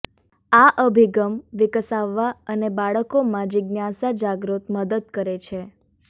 આ અભિગમ વિકસાવવા અને બાળકોમાં જિજ્ઞાસા જાગૃત મદદ કરે છે